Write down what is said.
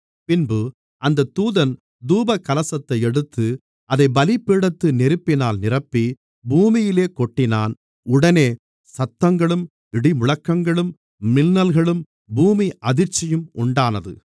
பின்பு அந்தத் தூதன் தூபகலசத்தை எடுத்து அதைப் பலிபீடத்து நெருப்பினால் நிரப்பி பூமியிலே கொட்டினான் உடனே சத்தங்களும் இடிமுழக்கங்களும் மின்னல்களும் பூமி அதிர்ச்சியும் உண்டானது